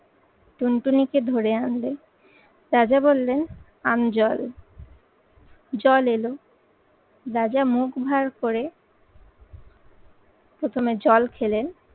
টুনটুনিকে ধরে আনবে। রাজা বললেন আমজল জল এলো রাজা মুখ ভার করে প্রথমে জল খেলেন